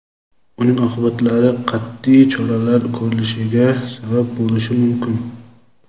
uning oqibatlari qat’iy choralar ko‘rilishiga sabab bo‘lishi mumkin.